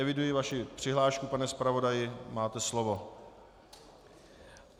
Eviduji vaši přihlášku, pane zpravodaji, máte slovo.